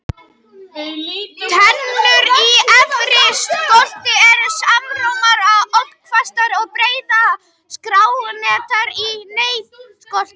Tennur í efri skolti eru smáar og oddhvassar en breiðar og skásettar í neðra skolti.